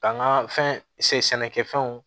Ka n ka fɛn sɛnɛ sɛnɛkɛfɛnw